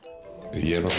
ég hef aldrei